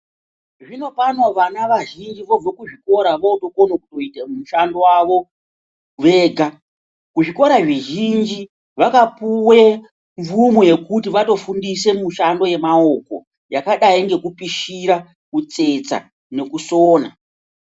Zvinopano vana vazhinji vobvo kuzvikora votokono kuite mushando wavo vega. Kuzvikora zvizhinji vakapuwe mvumo yekuti vatofundisa mishando yemaoko yakadai ngekupishira, kutsetsa nekusona.